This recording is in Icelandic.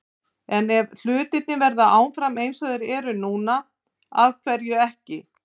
En ef hlutirnir verða áfram eins og þeir eru núna- af hverju ekki?